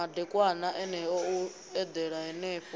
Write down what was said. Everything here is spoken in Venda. madekwana eneo u eḓela henefho